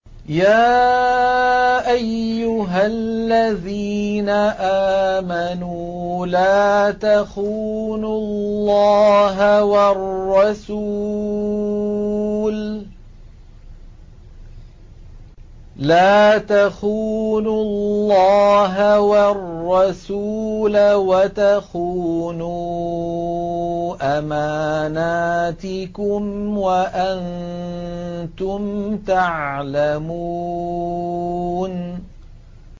يَا أَيُّهَا الَّذِينَ آمَنُوا لَا تَخُونُوا اللَّهَ وَالرَّسُولَ وَتَخُونُوا أَمَانَاتِكُمْ وَأَنتُمْ تَعْلَمُونَ